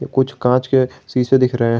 कुछ कांच के शीशे दिख रहे हैं।